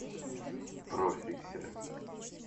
профиксеры